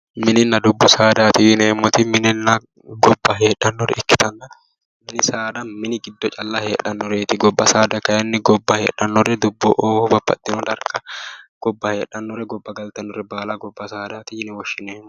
Minninna dubbu saada:-minninna dubbu saadaatti yineemmotti minenna gobba hee'dhannore ikitana minni saada mine calla heedhanoreetti goba saada kayinni goba heedhannori dubboho babaxino dariga goba heedhannore goba galitannore baala goba sadaati yinanni